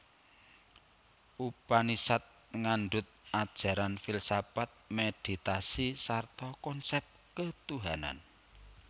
Upanisad ngandhut ajaran filsafat meditasi sarta konsep ketuhanan